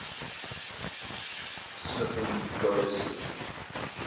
smithing goddesses